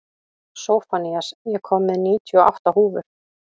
Sophanías, ég kom með níutíu og átta húfur!